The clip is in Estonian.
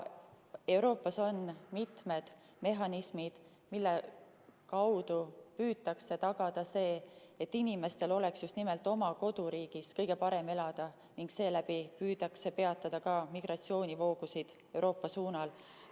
Euroopas on mitu mehhanismi, mille kaudu püütakse tagada, et inimestel oleks just nimelt oma koduriigis kõige parem elada ning seeläbi püütakse peatada ka migratsioonivoogusid Euroopa suunal.